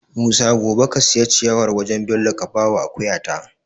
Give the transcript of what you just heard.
Musa gobe ka siya ciyawar wajan Bello ka bawa akuya ta